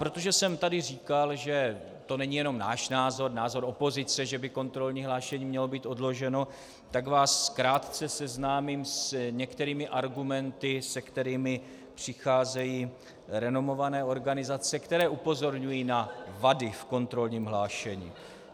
Protože jsem tady říkal, že to není jenom náš názor, názor opozice, že by kontrolní hlášení mělo být odloženo, tak vás krátce seznámím s některými argumenty, s kterými přicházejí renomované organizace, které upozorňují na vady v kontrolní hlášení.